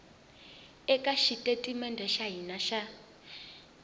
eka xitatimede xa hina xa